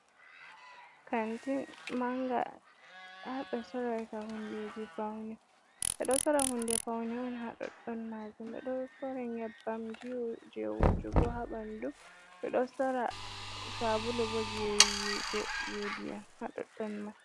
Kanti manga haɓe sorata hundeji paune ɓeɗo sora hunde paune on haɗoɗɗon majum, ɓeɗo sora nyebbamji on je wujugo haɓandu, ɓeɗo sora sabulu bo jewigo je ndiyam haɗoɗɗon man.